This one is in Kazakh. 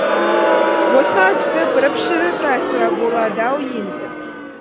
босқа түсіп іріп шіріп рәсуа болады ау енді